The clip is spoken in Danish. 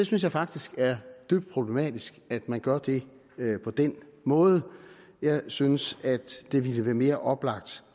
synes faktisk det er dybt problematisk at man gør det på den måde jeg synes at det ville være mere oplagt